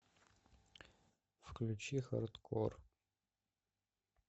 включи хардкор